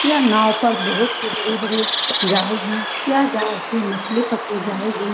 यह नाव पर बहुत ही बड़ी-बड़ी जाल है यह जाल से मछली पकड़ी जाएगी।